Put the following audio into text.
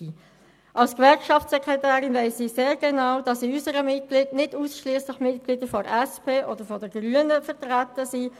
Als Gewerkschaftssekretärin weiss ich sehr genau, dass in unserer Gewerkschaft nicht ausschliesslich Mitglieder der SP oder der Grünen vertreten sind.